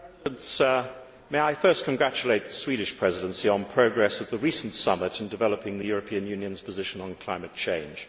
Mr President, may I first congratulate the Swedish Presidency on progress at the recent summit in developing the European Union's position on climate change.